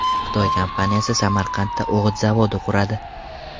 Xitoy kompaniyasi Samarqandda o‘g‘it zavodi quradi.